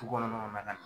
Du kɔnɔ na